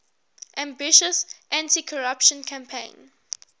ambitious anticorruption campaign